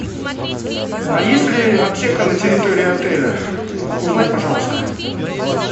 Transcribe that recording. а есть ли аптека на территории отеля узнай пожалуйста